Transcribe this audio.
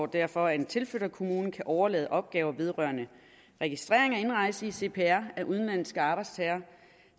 derfor at en tilflytningskommune kan overlade opgaver vedrørende registrering af indrejse i cpr af udenlandske arbejdstagere